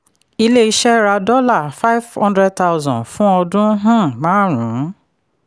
ilé-iṣẹ́ ra five hundred thousand dollars fún ọdún um márùn-ún.